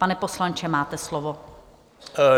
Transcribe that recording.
Pane poslanče, máte slovo.